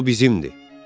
O bizimdir.